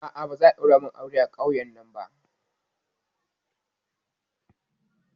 A'a, ba za'a ɗaura min aure a ƙauyen nan ba